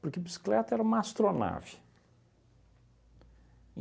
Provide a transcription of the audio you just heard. Porque bicicleta era uma astronave.